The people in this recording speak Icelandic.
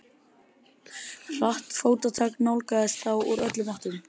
Hratt fótatak nálgaðist þá úr öllum áttum.